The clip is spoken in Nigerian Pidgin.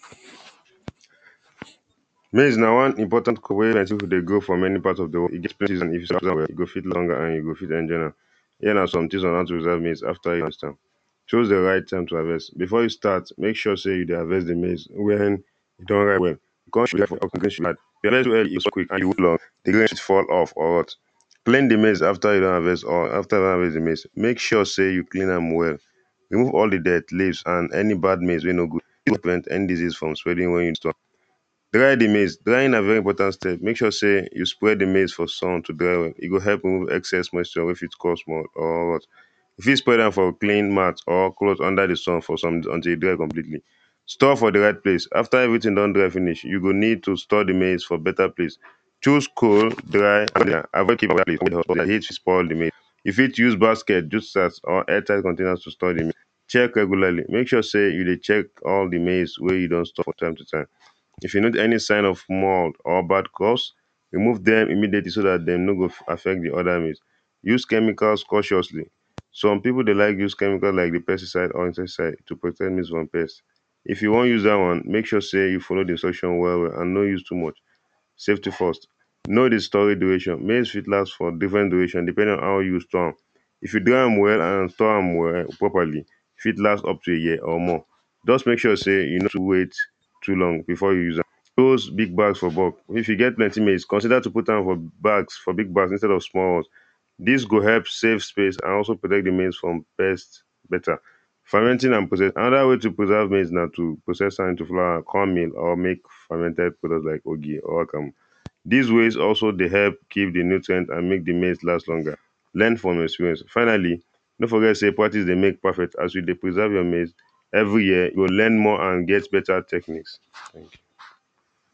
Maize na one important crop wey people dey grow for many part of the wor E go feed longer and you go fit enjoy am. Here na some things on how to preserve maize after you harvest am. Choose the right time to harvest. Before you start make sure say you dey harvest the maize when the rest fall off or what? Clean the maize after you don harvest all or after you don harvest the maize. Make sure say you clean am well. Remove all the dead leaves and any bad maize wey no good. any disease from spreading where you store. Dry the maize. Drying na very important step. Make sure say you spread the maize for sun to dry well. E go help remove excess moisture wey fit cause mould or worst. You fit spread am for clean mat or cloth under the sun for some until e dry completely. Store for the right place. After everything don dry finish. You go need to store the maize for better place. choose cold dry spoil the maize You fit use basket, use sacs or air tight container to store the may check regularly. Make sure say you dey check all the maize wey you don store from time to time. If you need any sign of mould or bad crops remove dem immediately so dat they no go affect the other maize. Use chemical cautiously. Some people dey like use chemical like the pesticide or insecticide to prevent maize from pest. If you wan use dat one, make sure say you follow the instruction well well. And no use too much. Safety first. Know the storage duration. Maize fit last for different duration depending on how you store am. If you dry am well and store am well properly e fit last up to a year or more. Just make sure say e no too wait too long before you use am. Those big bags for bulk. If you get plenty maize consider to put am for bags. For big bags instead of small ones. Dis go help save space and also protect the maize from pest better. Fermenting and preserve. Another way to preserve maize na to process am into flour, corn mill or make Fermented product like ogi or akamu. Dis ways also dey help kill the nutrient and make the maize last longer. Learn from experience. Finally, no forget say practice dey make perfect as you dey preserve your maize. Every year you go learn more and get better techniques. Thank you